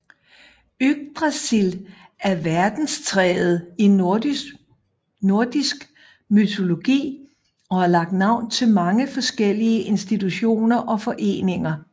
Yggdrasil er verdenstræet i nordisk mytologi og har lagt navn til mange forskellige institutioner og foreninger